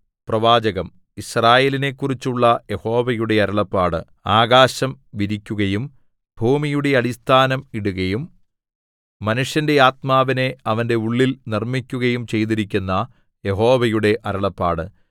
പ്രവാചകം യിസ്രായേലിനെക്കുറിച്ചുള്ള യഹോവയുടെ അരുളപ്പാട് ആകാശം വിരിക്കുകയും ഭൂമിയുടെ അടിസ്ഥാനം ഇടുകയും മനുഷ്യന്റെ ആത്മാവിനെ അവന്റെ ഉള്ളിൽ നിർമ്മിക്കുകയും ചെയ്തിരിക്കുന്ന യഹോവയുടെ അരുളപ്പാട്